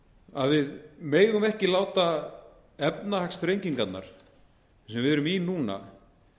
að við megum ekki láta efnahagsþrengingarnar sem við erum í núna